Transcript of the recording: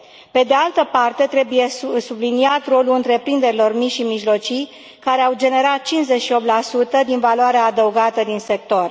Pe de altă parte, trebuie subliniat rolul întreprinderilor mici și mijlocii care au generat 58 din valoarea adăugată din sector.